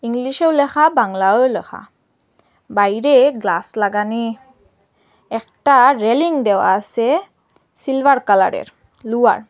ইংলিশেও ল্যাখা বাংলায়েও ল্যাখা বাইরে গ্লাস লাগানি একটা রেলিং দেওয়া আসে সিলভার কালারের লুয়ার ।